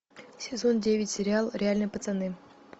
сезон девять сериал реальные пацаны